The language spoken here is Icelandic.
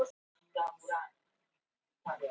Vann tvisvar í lottóinu